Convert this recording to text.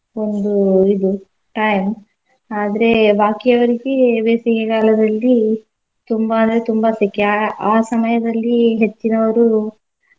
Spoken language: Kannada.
ಒಂದು ಇದು time ಆದ್ರೆ ಬಾಕಿ ಯವ್ರಿಗೆ ಬೇಸಿಗೆ ಕಾಲದಲ್ಲಿ ತುಂಬಾ ಅಂದ್ರೆ ತುಂಬಾ ಸೆಖೆ ಅಹ್ ಆ ಸಮಯದಲ್ಲಿ ಹೆಚ್ಚಿನೋರು.